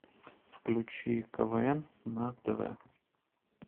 включи квн на тв